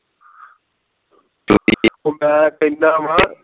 ਉਹ ਮੈਂ ਕਹਿੰਦਾ ਵਾਂ ਹਾਂ